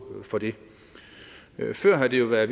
for det før har det været